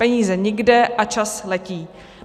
Peníze nikde a čas letí.